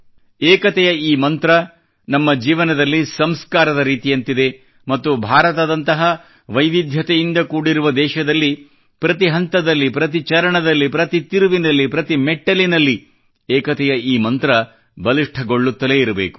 ಏಕತೆಯ ಈ ಮಂತ್ರ ನಮ್ಮ ಜೀವನದಲ್ಲಿ ಸಂಸ್ಕಾರದ ರೀತಿಯಂತಿದೆ ಮತ್ತು ಭಾರತದಂತಹ ವೈವಿಧ್ಯತೆಯಿಂದ ಕೂಡಿರುವ ದೇಶದಲ್ಲಿ ಪ್ರತಿ ಹಂತದಲ್ಲಿ ಪ್ರತಿ ಚರಣದಲ್ಲಿ ಪ್ರತಿ ತಿರುವಿನಲ್ಲಿ ಪ್ರತಿ ಮೆಟ್ಟಿಲಿನಲ್ಲಿ ಏಕತೆಯ ಈ ಮಂತ್ರ ಬಲಿಷ್ಠಗೊಳ್ಳುತ್ತಲೇ ಇರಬೇಕು